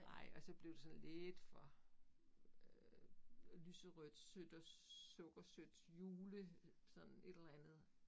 Nej og så blev det sådan lidt for øh lyserødt sødt og sukkersødt jule sådan et eller andet